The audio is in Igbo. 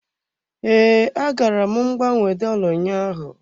Ee, agara m gbanwee dola ụnyaahụ.